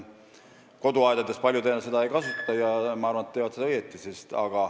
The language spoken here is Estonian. Koduaedades nagunii paljud enam taimekaitsevahendeid ei kasuta ja ma arvan, et nad teevad õigesti.